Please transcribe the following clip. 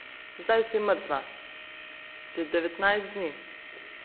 Zdaj si mrtva že devetnajst dni.